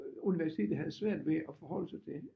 Universitetet havde svært ved at forholde sig til